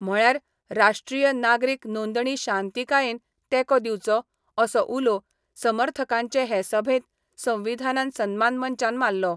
म्हळ्यार राष्ट्रीय नागरिक नोंदणी शांतीकायेन तेको दिवचो, असो उलो समर्थकांचे हे सभेत संवविधान सन्मान मंचान माल्लो.